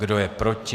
Kdo je proti?